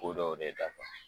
Ko dɔw de dafa